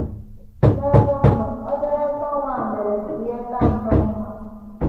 N’ebe ọ nọ, obere mgbanwe a mere ka ihe ka nnọọ mma.